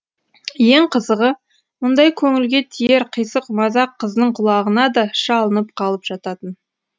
ең қызығы мұндай көңілге тиер қисық мазақ қыздың құлағына да шалынып қалып жататын